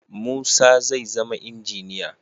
Musa zai zama injiniya.